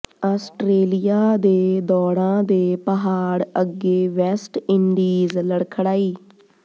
Australia ਦੇ ਦੌਡ਼ਾਂ ਦੇ ਪਹਾਡ਼ ਅੱਗੇ ਵੈਸਟ ਇੰਡੀਜ਼ ਲਡ਼ਖਡ਼ਾਈ